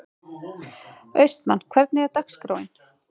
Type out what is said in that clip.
Austmann, hvernig er dagskráin?